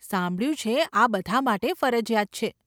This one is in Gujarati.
સાંભળ્યું છે આ બધા માટે ફરજિયાત છે.